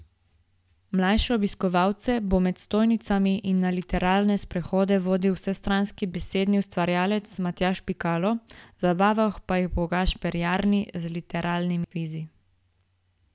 Mlajše obiskovalce bo med stojnicami in na literarne sprehode vodil vsestranski besedni ustvarjalec Matjaž Pikalo, zabaval pa jih bo Gašper Jarni z literarnim kvizom.